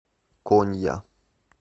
конья